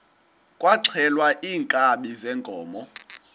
kwaxhelwa iinkabi zeenkomo